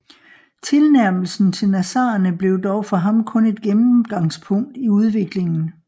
Tilnærmelsen til nazarenerne blev dog for ham kun et gennemgangspunkt i udviklingen